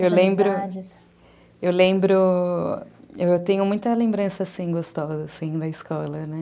Eu lembro, eu tenho muita lembrança assim, gostosa da escola, né?